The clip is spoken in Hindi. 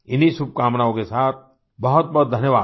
इन्हीं शुभकामनाओं के साथ बहुत बहुत धन्यवाद